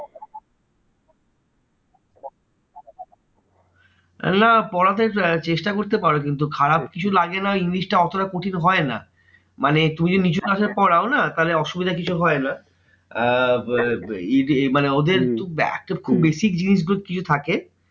না পড়াতে আহ চেষ্টা করতে পারো কিন্তু খারাপ কিছু লাগে না ওই english টা অতটা কঠিন হয় না। মানে তুমি যদি নিচু class এ পড়াও না তাহলে অসুবিধা কিছু হয় না। আহ মানে ওদের খুব basic জিনিসগুলো কিছু থাকে